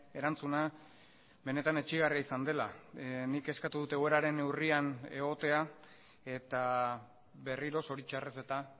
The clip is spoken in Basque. erantzuna benetan etsigarria izan dela nik eskatu dut egoeraren neurrian egotea eta berriro zoritxarrez eta